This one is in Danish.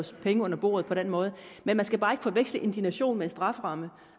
penge under bordet på den måde men man skal bare ikke forveksle indignation med en strafferamme